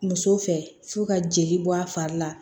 Muso fɛ f'u ka jeli bɔ a fari la